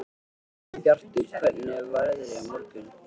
Snæbjartur, hvernig er veðrið á morgun?